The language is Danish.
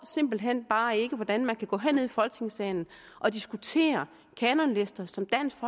simpelt hen bare ikke forstår hvordan man kan gå herned i folketingssalen og diskutere kanonlister som dansk